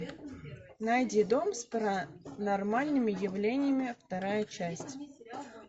найди дом с паранормальными явлениями вторая часть